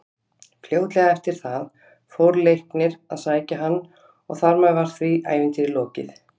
Fljótlega eftir það fór Leiknir að sækja hann og þar með var því ævintýri lokið.